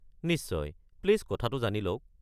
নিশ্চয়, প্লিজ কথাটো জানি লওক।